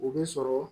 O bɛ sɔrɔ